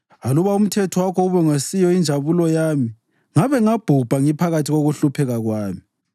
Aluba umthetho wakho ubungesiyo injabulo yami ngabe ngabhubha ngiphakathi kokuhlupheka kwami.